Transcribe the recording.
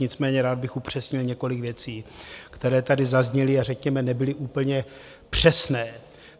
Nicméně rád bych upřesnil několik věcí, které tady zazněly a řekněme nebyly úplně přesné.